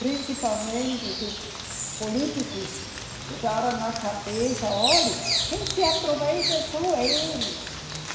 Principalmente do políticos, botaram na cabeça, olhe, quem se aproveita são eles.